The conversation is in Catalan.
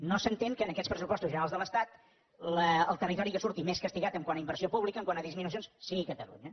no s’entén que amb aquests pressupostos generals de l’estat el territori que surti més castigat quant a inversió pública quant a disminucions sigui catalunya